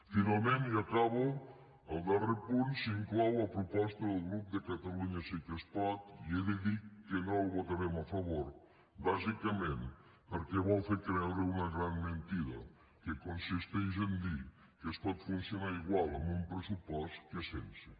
finalment i acabo al darrer punt s’hi inclou la proposta del grup de catalunya sí que es pot i he de dir que no hi votarem a favor bàsicament perquè vol fer creure una gran mentida que consisteix a dir que es pot funcionar igual amb un pressupost que sense